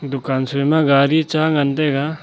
dukan shoi ma gari cha ngan taiga.